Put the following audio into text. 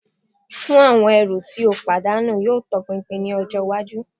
Fun awọn ẹru ti o padanu yoo tọpinpin ni ọjọ iwaju